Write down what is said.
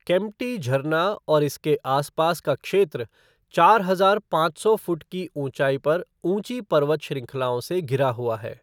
केम्प्टी झरना और इसके आसपास का क्षेत्र चार हज़ार पाँच सौ फुट की ऊँचाई पर ऊँची पर्वत श्रृंखलाओं से घिरा हुआ है।